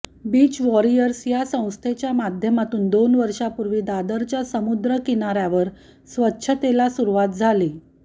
beach warriors या संस्थेच्या माध्यमातून दोन वर्षांपूर्वी दादरच्या समुद्र किनाऱ्यावर स्वच्छतेला सुरुवात झाली